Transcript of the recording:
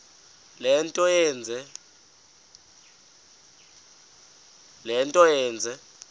le nto yenze